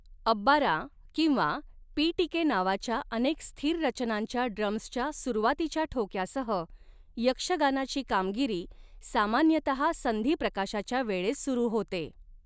अब्बारा किंवा पीटिके नावाच्या अनेक स्थिर रचनांच्या ड्रम्सच्या सुरुवातीच्या ठोक्यासह यक्षगानाची कामगिरी सामान्यतहा संधिप्रकाशाच्या वेळेस सुरू होते.